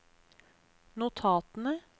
notatene